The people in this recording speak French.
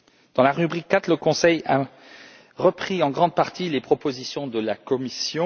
Dans la rubrique 4, le Conseil a repris en grande partie les propositions de la Commission.